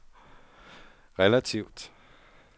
relativt